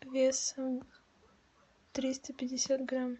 весом триста пятьдесят грамм